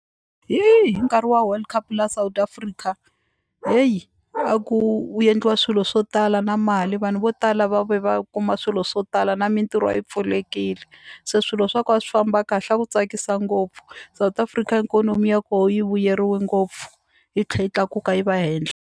Hi hi nkarhi wa World Cup la South Africa heyi a ku yendliwa swilo swo tala na mali vanhu vo tala va ve kuma swilo swo tala na mintirho a yi pfulekile se swilo swa ko a swi famba kahle a ku tsakisa ngopfu South Africa ikonomi ya koho yi vuyeriwe ngopfu yi tlhe yi tlakuka yi va henhla.